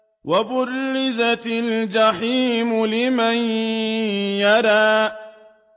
وَبُرِّزَتِ الْجَحِيمُ لِمَن يَرَىٰ